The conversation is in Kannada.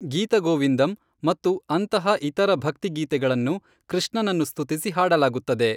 ಗೀತ ಗೋವಿಂದಂ ಮತ್ತು ಅಂತಹ ಇತರ ಭಕ್ತಿಗೀತೆಗಳನ್ನು ಕೃಷ್ಣನನ್ನು ಸ್ತುತಿಸಿ ಹಾಡಲಾಗುತ್ತದೆ.